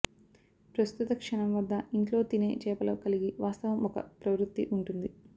ప్రస్తుత క్షణం వద్ద ఇంట్లో తినే చేపలు కలిగి వాస్తవం ఒక ప్రవృత్తి ఉంటుంది